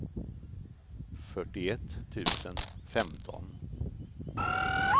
fyrtioett tusen femton